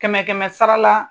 Kɛmɛ kɛmɛ sara la